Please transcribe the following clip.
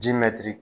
Ji mɛtiri